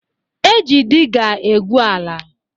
E ji diga e gbu ala